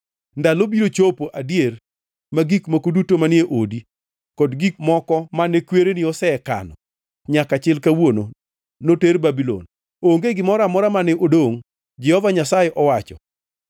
Ndalo biro chopo adier ma gik moko duto manie odi kod gik moko mane kwereni osekano nyaka chil kawuono, noter Babulon. Onge gimoro amora mane odongʼ, Jehova Nyasaye owacho.